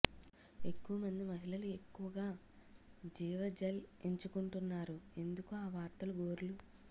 ఎక్కువ మంది మహిళలు ఎక్కువగా జీవ జెల్ ఎంచుకుంటున్నారు ఎందుకు ఆ వార్తలు గోర్లు